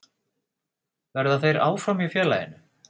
Verða þeir áfram hjá félaginu?